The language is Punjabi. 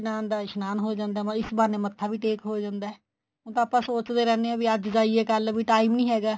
ਦਾ ਇਸ਼ਨਾਨ ਹੋ ਜਾਂਦਾ ਮਤਲਬ ਇਸ ਬਹਾਨੇ ਮੱਥਾ ਵੀ ਟੇਕ ਹੋ ਜਾਂਦਾ ਉ ਤਾਂ ਆਪਾਂ ਸੋਚਦੇ ਰਹਿਨੇ ਆ ਵੀ ਅੱਜ ਜਾਈਏ ਕੱਲ ਵੀ time ਨੀਂ ਹੈਗਾ